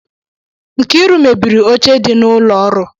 Nkiru mebiri oche dị n'ụlọ ọrụ